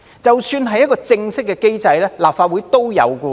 即使是正式的機制，立法會也是有的。